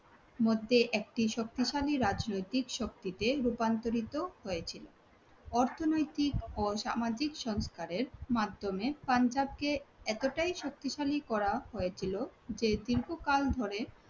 মধ্যে একটি শক্তিশালী রাজনৈতিক শক্তিতে রূপান্তরিত হয়েছিল। অর্থনৈতিক ও সামাজিক সংস্কারের মাধ্যমে পাঞ্জাবকে এতটাই শক্তিশালী করা হয়েছিল যে দীর্ঘকাল ধরে